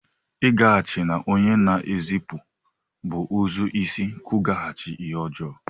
Ịlaghachi na onye na-ezipụ bụ ụzọ isi kwụghachi ihe ọjọọ.